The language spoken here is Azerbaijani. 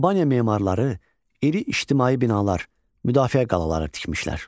Albaniya memarları iri ictimai binalar, müdafiə qalaları tikmişlər.